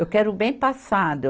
Eu quero bem passado.